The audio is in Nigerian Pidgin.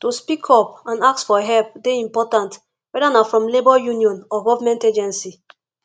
to speak up and seek for help dey important whether na from labor union or government agency